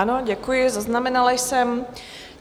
Ano, děkuji, zaznamenala jsem.